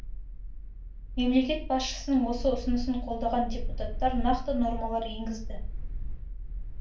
мемлекет басшысының осы ұсынысын қолдаған депутаттар нақты нормалар енгізді